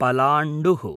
पलाण्डुः